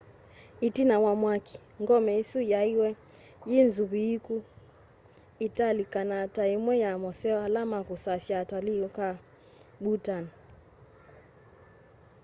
itina wa mwaki ngome isu niyaiiwe yi nzuviiku iitalikana ta imwe ya moseo ala makusasya atalii ku bhutan